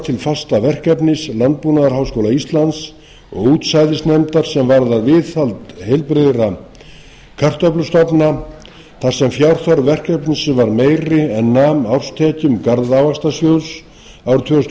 til fastaverkefnis landbúnaðarháskóla íslands og útsæðisnefndar sem varðar viðhald heilbrigðra kartöflustofna þar sem fjárþörf verkefnisins var meiri en nam árstekjum garðávaxtasjóðs árið tvö þúsund og